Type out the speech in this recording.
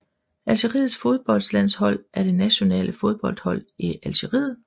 Algeriets fodboldlandshold er det nationale fodboldhold i Algeriet